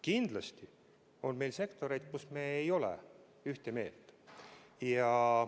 Kindlasti on meil sektoreid, mille osas me ei ole ühte meelt.